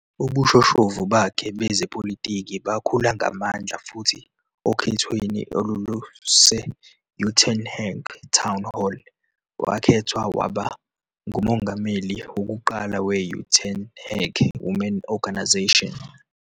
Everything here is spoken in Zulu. Ubushoshovu bakhe bezepolitiki bakhula ngamandla futhi okhethweni olwaluse-Uitenhage Town Hall, wakhethwa waba ngumongameli wokuqala we-Uitenhage Women Organisation.